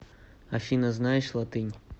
афина знаешь латынь